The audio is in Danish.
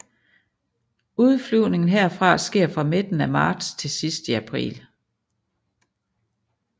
Udflyvningen herfra sker fra midten af marts til sidst i april